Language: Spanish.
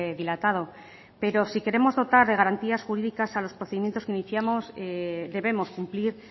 dilatado pero si queremos dotar de garantías jurídicas a los procedimientos que iniciamos debemos cumplir